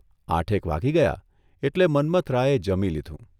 આઠેક વાગી ગયા એટલે મન્મથરાયે જમી લીધું.